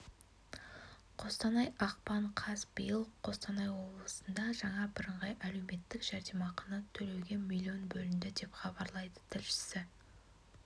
қостанай ақпан қаз биыл қостанай облысында жаңа бірыңғай әлеуметтік жәрдемақыны төлеуге млн бөлінді деп хабарлады тілшісі